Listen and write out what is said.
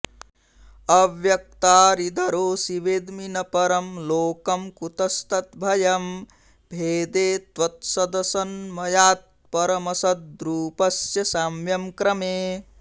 अव्यक्तारिदरोऽसि वेद्मि न परं लोकं कुतस्तद्भयं भेदे त्वत्सदसन्मयात्परमसद्रूपस्य साम्यं क्रमे